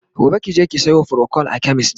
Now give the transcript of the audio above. gobe kije ki Sayo procold a chemist!